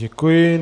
Děkuji.